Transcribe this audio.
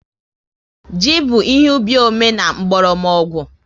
Ji bụ ihe ubi ome and mkpọrọgwụ